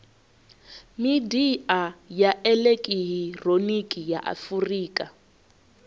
midia ya elekihironiki ya afurika